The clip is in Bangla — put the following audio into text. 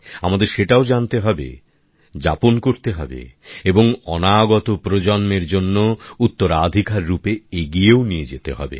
আমাদের সেটাও জানতে হবে যাপন করতে হবে এবং অনাগত প্রজন্মদের জন্য উত্তরাধিকার রূপে এগিয়েও নিয়ে যেতে হবে